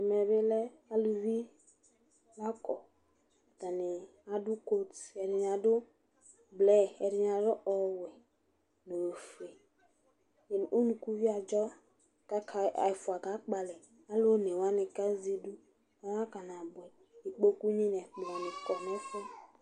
ɛmɛ bi lɛ aluvi la kɔ atani adu koat ɛdini adu blu ɛdini adu ɔwɛ no ofue unukuvio adzɔ k'aka ɛfua ka kpɔ alɛ alo one wani ka zɛ idu ɔna kana boɛ ikpoku ni n'ɛkplɔ ni kɔ n'ɛfu yɛ